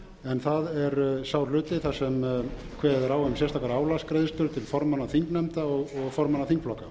en það er sá hluti þar sem kveðið er á um sérstakar álagsgreiðslur til formanna þingnefnda og formanna þingflokka